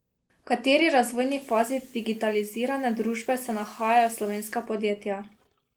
V kateri razvojni fazi digitalizirane družbe se nahajajo slovenska podjetja?